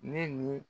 Ne ni